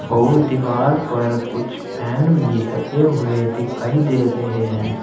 और दीवार पर कुछ फैन भी लगे हुए दिखाई दे रहे हैं।